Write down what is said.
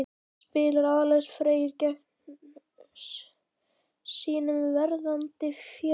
Spilar Alex Freyr gegn sínum verðandi félögum?